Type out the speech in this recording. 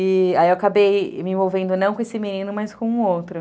E, aí eu acabei me envolvendo não com esse menino, mas com o outro.